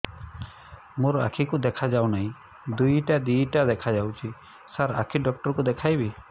ମୋ ଆଖିକୁ ଦେଖା ଯାଉ ନାହିଁ ଦିଇଟା ଦିଇଟା ଦେଖା ଯାଉଛି ସାର୍ ଆଖି ଡକ୍ଟର କୁ ଦେଖାଇବି